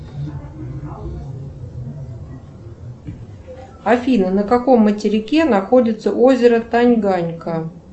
афина на каком материке находится озеро танганьика